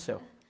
céu.